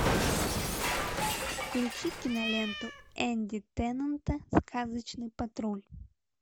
включи киноленту энди теннанта сказочный патруль